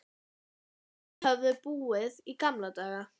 Inga höfðu búið í gamla daga.